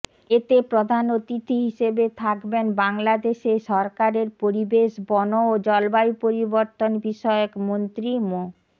এতে প্রধান অতিথি হিসেবে থাকবেন বাংলাদেশে সরকারের পরিবেশ বন ও জলবায়ু পরিবর্তন বিষয়ক মন্ত্রী মো